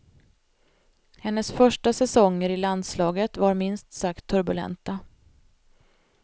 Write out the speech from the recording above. Hennes första säsonger i landslaget var minst sagt turbulenta.